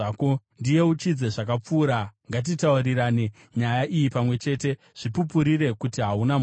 Ndiyeuchidze zvakapfuura, ngatitaurirane nyaya iyi pamwe chete; zvipupurire kuti hauna mhosva.